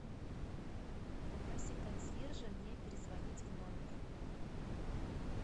попроси консьержа мне перезвонить в номер